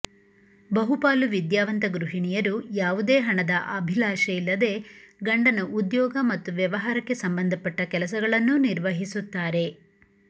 ಬಹುಪಾಲು ವಿದ್ಯಾವಂತ ಗೃಹಿಣಿಯರು ಯಾವುದೇ ಹಣದ ಅಭಿಲಾಷೆಯಿಲ್ಲದೆ ಗಂಡನ ಉದ್ಯೋಗ ಮತ್ತು ವ್ಯವಹಾರಕ್ಕೆ ಸಂಬಂಧಪಟ್ಟ ಕೆಲಸಗಳನ್ನೂ ನಿರ್ವಹಿಸುತ್ತಾರೆ